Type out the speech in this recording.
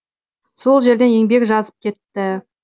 сол жерден еңбек жазып кетті